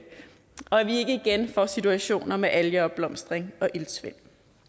vi ikke igen får situationer med algeopblomstring og iltsvind